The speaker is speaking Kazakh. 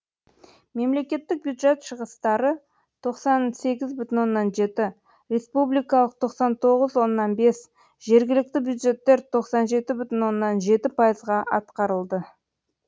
мемлекеттік бюджет шығыстары тоқсан сегіз бүтін оннан жеті республикалық тоқсан тоғыз бүтін оннан бес жергілікті бюджеттер тоқсан жеті бүтін оннан жеті пайызға атқарылды